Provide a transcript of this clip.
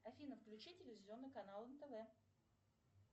афина включи телевизионный канал нтв